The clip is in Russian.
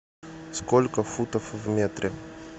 сколько футов в метре